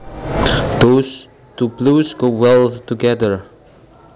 Those two blues go well together